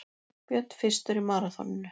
Björn fyrstur í maraþoninu